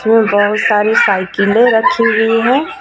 इसमें बहुत सारी साइकिले रखी हुई है.